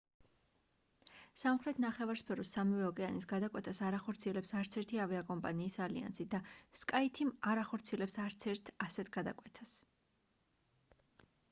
სამხრეთ ნახევარსფეროს სამივე ოკეანის გადაკვეთას არ ახორციელებს არც ერთი ავიაკომპანიის ალიანსი და skyteam არ ახორციელებს არც ერთ ასეთ გადაკვეთას